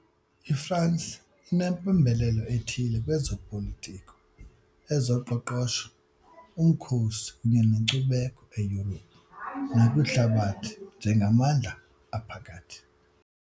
IFransi inempembelelo ethile kwezopolitiko, ezoqoqosho, umkhosi kunye nenkcubeko eYurophu nakwihlabathi njengamandla aphakathi.